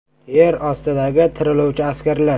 Yer ostidagi “tiriluvchi” askarlar.